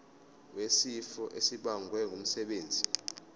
wesifo esibagwe ngumsebenzi